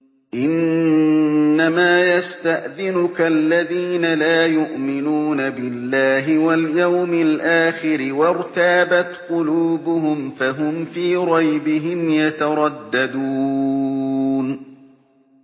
إِنَّمَا يَسْتَأْذِنُكَ الَّذِينَ لَا يُؤْمِنُونَ بِاللَّهِ وَالْيَوْمِ الْآخِرِ وَارْتَابَتْ قُلُوبُهُمْ فَهُمْ فِي رَيْبِهِمْ يَتَرَدَّدُونَ